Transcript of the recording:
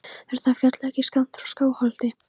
Er það fjall ekki skammt frá Skálholti?